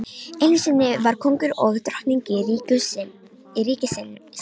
Einusinni voru kóngur og drottning í ríki sínu.